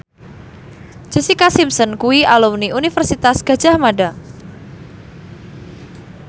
Jessica Simpson kuwi alumni Universitas Gadjah Mada